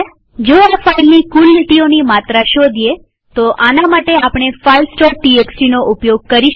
જો આ ફાઈલની કુલ લીટીઓની માત્રા શોધીએતો આના માટે આપણે filesટીએક્સટી નો ઉપયોગ કરી શકીએ